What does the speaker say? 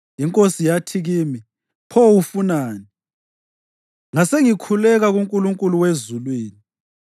Inkosi yathi kimi, “Pho ufunani?” Ngasengikhuleka kuNkulunkulu wezulwini,